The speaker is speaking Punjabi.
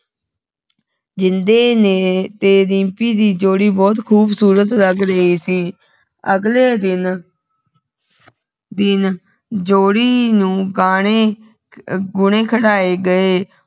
ਜਿੰਦੇ ਨੇ ਤੇ ਰਿੰਪੀ ਦੀ ਜੋਡੀ ਬਹੁਤ ਖੂਬਸੂਰਤ ਲੱਗ ਰਹੀ ਸੀ ਅਗਲੇ ਦਿਨ ਦਿਨ ਜੋੜੀ ਨੂੰ ਗਾਣੇ ਗੁਣੇ ਖਿੜਾਏ ਗਏ